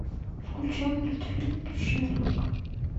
включай мультфильм шерлок